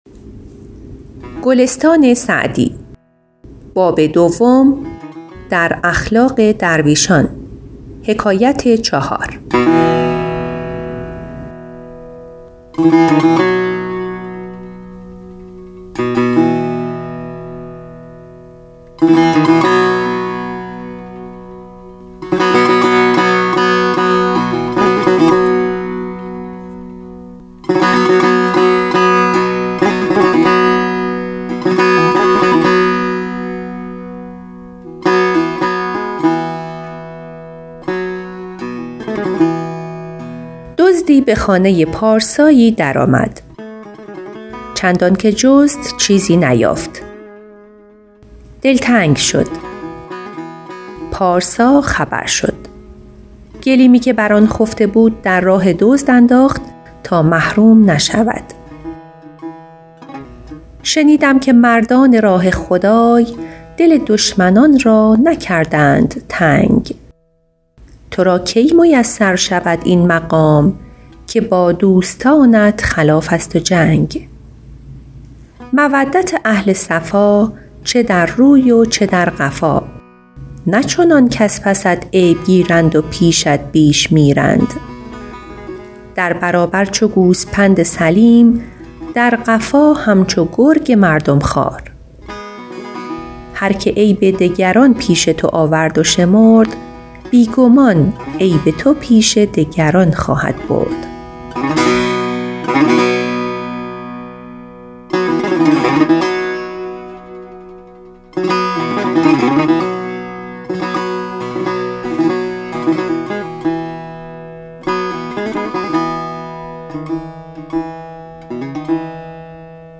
دزدی به خانه پارسایی در آمد چندان که جست چیزی نیافت دلتنگ شد پارسا خبر شد گلیمی که بر آن خفته بود در راه دزد انداخت تا محروم نشود شنیدم که مردان راه خدای دل دشمنان را نکردند تنگ تو را کی میسر شود این مقام که با دوستانت خلاف است و جنگ مودت اهل صفا چه در روی و چه در قفا نه چنان کز پست عیب گیرند و پیشت بیش میرند در برابر چو گوسپند سلیم در قفا همچو گرگ مردم خوار هر که عیب دگران پیش تو آورد و شمرد بی گمان عیب تو پیش دگران خواهد برد